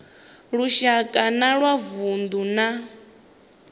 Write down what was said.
lushaka na wa vundu na